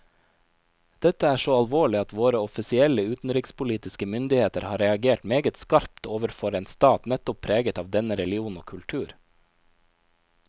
Dette er så alvorlig at våre offisielle utenrikspolitiske myndigheter har reagert meget skarpt overfor en stat nettopp preget av denne religion og kultur.